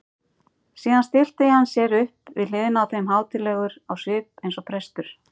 Síðan stillti hann sér upp við hliðina á þeim hátíðlegur á svip eins og prestur.